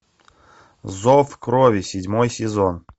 зов крови седьмой сезон